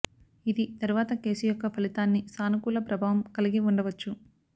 ఇది తరువాత కేసు యొక్క ఫలితాన్ని సానుకూల ప్రభావం కలిగి ఉండవచ్చు